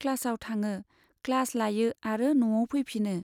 क्लासाव थाङो, क्लास लायो आरो नआव फैफिनो।